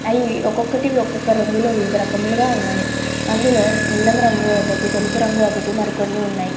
అవి ఒక్కొకటి ఒక్కో రంగులో వివిధ రంగులో ఉన్నాయ్. అందులో నీలం రంగు ఒకటి తెలుపు రంగు ఇంకొన్ని ఉన్నాయ్ .